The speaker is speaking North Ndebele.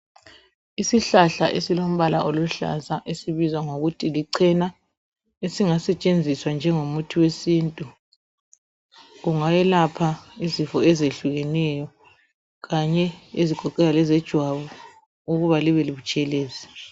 Isihlahla esilombala oluhlaza esibizwa ngokuthi lichena esingasetshenziswa njengo muthi wesintu kungayelapha izifo ezehlukeneyo kanye ezigoqela lezejwabu ukuba libe butshelezi.